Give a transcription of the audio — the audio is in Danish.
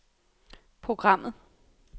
programmet